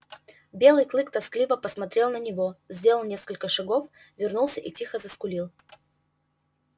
белый клык тоскливо посмотрел на него сделал несколько шагов вернулся и тихо заскулил